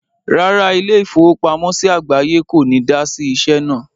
Rárá, ilé-ìfowópamọ́sí àgbáye kò ní dá sí iṣẹ́ náà.